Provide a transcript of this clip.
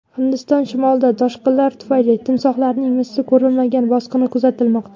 Hindiston shimolida toshqinlar tufayli timsohlarning misli ko‘rilmagan bosqini kuzatilmoqda.